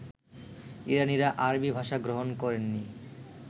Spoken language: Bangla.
ইরানীরা আরবী ভাষা গ্রহণ করেননি